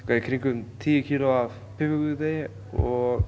í kringum tíu kíló af piparkökudegi og